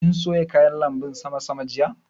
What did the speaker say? Kin soya kayan lanbun sama sama jiya?